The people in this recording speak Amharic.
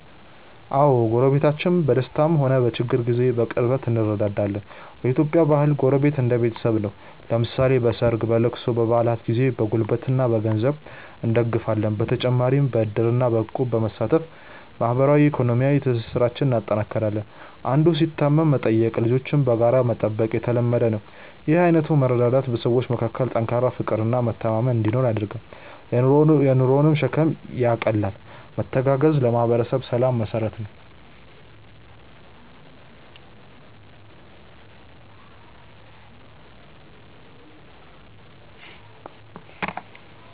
አዎ፣ ጎረቤቶቻችን በደስታም ሆነ በችግር ጊዜ በቅርበት እንረዳዳለን። በኢትዮጵያ ባህል ጎረቤት እንደ ቤተሰብ ነው፤ ለምሳሌ በሰርግ፣ በልቅሶና በበዓላት ጊዜ በጉልበትና በገንዘብ እንደጋገፋለን። በተጨማሪም በዕድርና በእቁብ በመሳተፍ ማህበራዊና ኢኮኖሚያዊ ትስስራችንን እናጠናክራለን። አንዱ ሲታመም መጠየቅና ልጆችን በጋራ መጠበቅ የተለመደ ነው። ይህ አይነቱ መረዳዳት በሰዎች መካከል ጠንካራ ፍቅርና መተማመን እንዲኖር ያደርጋል፤ የኑሮንም ሸክም ያቃልላል። መተጋገዝ ለማህበረሰብ ሰላም መሰረት ነው።